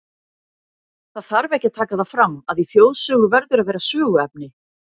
Það þarf ekki að taka það fram, að í þjóðsögu verður að vera söguefni.